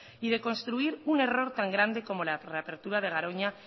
y de construir un error tan grande como la reapertura de garoña